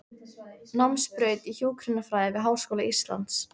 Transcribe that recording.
Námsbraut í hjúkrunarfræði við Háskóla Íslands.